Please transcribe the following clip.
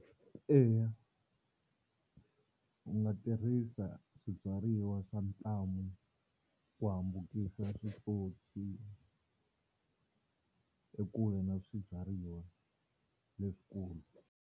Eya u nga tirhisa swibyariwa swa ntlhamu ku hambukisa switsotswana ekule na swibyariwa leswikulu.